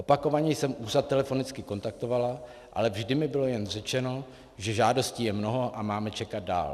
Opakovaně jsem úřad telefonicky kontaktovala, ale vždy mi bylo jen řečeno, že žádostí je mnoho a máme čekat dál.